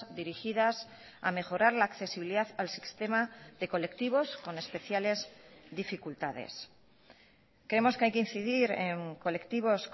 dirigidas a mejorar la accesibilidad al sistema de colectivos con especiales dificultades creemos que hay que incidir en colectivos